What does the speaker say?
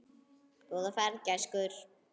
Góða ferð, gæskur.